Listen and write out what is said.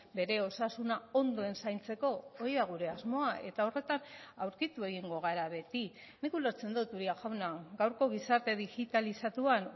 bere osasuna ondoen zaintzeko hori da gure asmoa eta horretan aurkitu egingo gara beti nik ulertzen dut uria jauna gaurko gizarte digitalizatuan